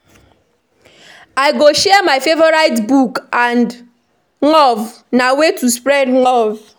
I go share my favorite book with someone; na way to spread love.